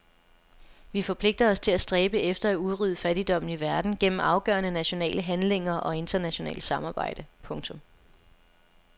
Vi forpligter os til at stræbe efter at udrydde fattigdommen i verden gennem afgørende nationale handlinger og internationalt samarbejde. punktum